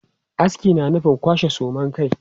Aski na nufin kwashe suman kai.